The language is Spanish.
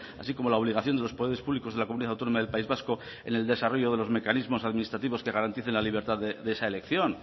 así como la obligación de los poderes públicos de la comunidad autónoma del país vasco en el desarrollo de los mecanismos administrativos que garanticen la libertad de esa elección